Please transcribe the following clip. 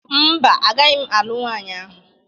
Mba, agaghị m alụ nwanyị ahụ